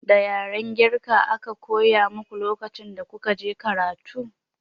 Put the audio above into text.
Da yaren girka aka koya muku lokacin da kuka je karatu?